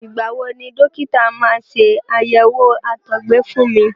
Ìgbà wo ni dọ́kítà máa ṣe àyẹ̀wò àtọgbẹ fún mi.